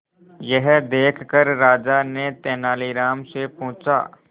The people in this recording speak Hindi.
यह देखकर राजा ने तेनालीराम से पूछा